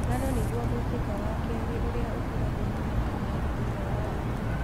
Ngano nĩguo mũitĩka wa kelĩ urĩa ũkũragio mũno kenya thutha wa mbembe